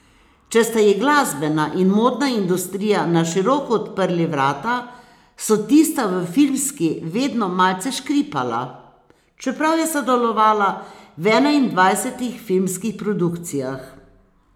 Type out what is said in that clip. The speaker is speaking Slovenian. Če sta ji glasbena in modna industrija na široko odprli vrata, so tista v filmski vedno malce škripala, čeprav je sodelovala v enaindvajsetih filmskih produkcijah.